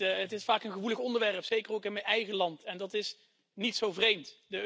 Het is vaak een gevoelig onderwerp, zeker ook in mijn eigen land en dat is niet zo vreemd.